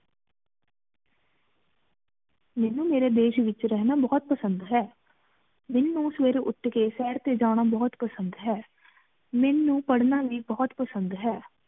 ਮਨੁ ਮੇਰੀ ਦੇਸ਼ ਏਚ ਰਹਨਾ ਬੋਹਤ ਪਸੰਦ ਹੈ ਦਿਨ ਨੂ ਸਵੇਰੀ ਉਠ ਕ ਸੈਰ ਟੀ ਜਾਣਾ ਬੋਹਤ ਪਸੰਦ ਹ ਮਨੁ ਪਢ਼ਨਾ ਵ ਬੋਹਤ ਪਸੰਦ ਹੈ